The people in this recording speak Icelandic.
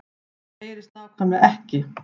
Það HEYRIST NÁKVÆMLEGA EKKI